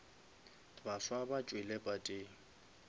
baswa ba tšwile pateng